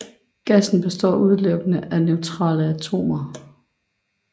Gassen består udelukkende af neutrale atomer